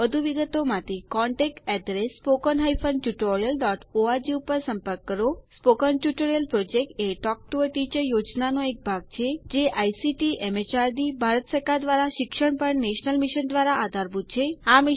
વધુ વિગતો માટે contactspoken tutorialorg ઉપર સંપર્ક કરો સ્પોકન ટ્યુટોરીયલ પ્રોજેક્ટ એ ટોક ટુ અ ટીચર યોજનાનો ભાગ છે જે આઇસીટીએમએચઆરડીભારત સરકાર દ્વારા શિક્ષણ પર નેશનલ મિશન દ્વારા આધારભૂત છે